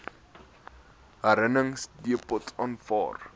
herwinningsdepots aanvaar